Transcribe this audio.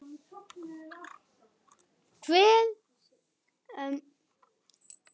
Hver veit, hver veit.